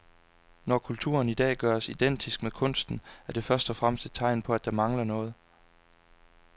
Når kulturen i dag gøres identisk med kunsten er det først og fremmest et tegn på at der mangler noget.